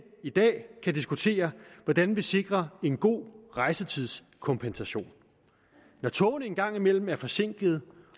i dag kan diskutere hvordan vi sikrer en god rejsetidskompensation når togene en gang imellem er forsinkede